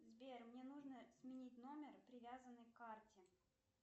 сбер мне нужно сменить номер привязанный к карте